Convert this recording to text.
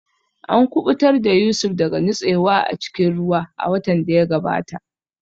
An kubutar da Yusuf daga nutsewa a cikin ruwa a watan da ya gabata